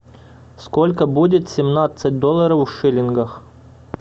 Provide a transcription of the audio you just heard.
сколько будет семнадцать долларов в шиллингах